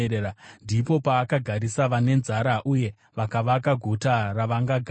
ndipo paakagarisa vane nzara, uye vakavaka guta ravangagara.